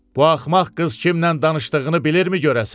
Bu axmaq qız kimlə danışdığını bilirmi görəsən?